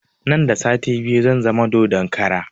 Nan da sati biyu zan zama dodon kara